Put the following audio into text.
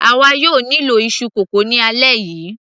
àwa yóò nílò iṣu kókò ni alẹ́ yìí